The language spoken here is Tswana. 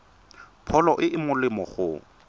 pholo e e molemo go